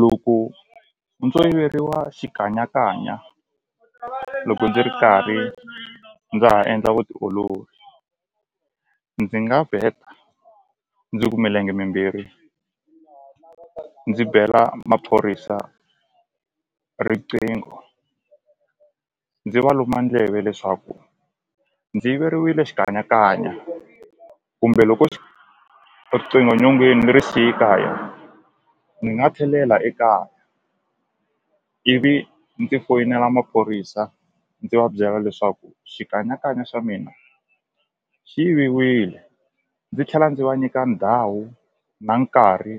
Loko ndzo yiveriwa xikanyakanya loko ndzi ri karhi ndza ha endla vutiolori ndzi nga vheta ndzi ku milenge mimbirhi ndzi bela maphorisa riqingho ndzi va luma ndleve leswaku ndzi yiveriwile xikanyakanya kumbe loko riqingho nyongeni ni ri siye kaya ni nga tlhelela ekaya ivi ndzi foyinela maphorisa ndzi va byela leswaku xikanyakanya xa mina xi yiviwile ndzi tlhela ndzi va nyika ndhawu na nkarhi